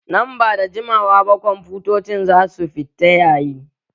Nan ba da jimawa ba kwamfutocin za su fita yayi